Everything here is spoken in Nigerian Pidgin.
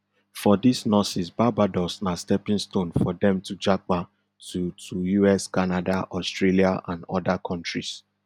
for dis nurses barbados na stepping stone for dem to japa to to us canada australia and oda kontris